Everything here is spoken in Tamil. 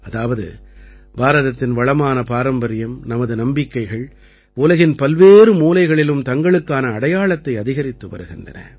அதாவது பாரதத்தின் வளமான பாரம்பரியம் நமது நம்பிக்கைகள் உலகின் பல்வேறு மூலைகளிலும் தங்களுக்கான அடையாளத்தை அதிகரித்து வருகின்றன